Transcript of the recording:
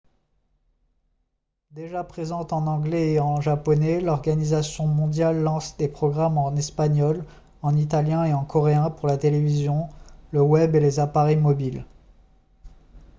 déjà présente en anglais et en japonais l'organisation mondiale lance des programmes en espagnol en italien et en coréen pour la télévision le web et les appareils mobiles